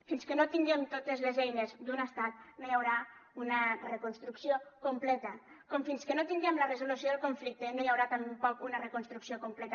fins que no tinguem totes les eines d’un estat no hi haurà una reconstrucció completa com fins que no tinguem la resolució del conflicte no hi haurà tampoc una reconstrucció completa